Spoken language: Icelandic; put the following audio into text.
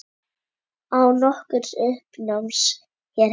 Án nokkurs uppnáms hér heima.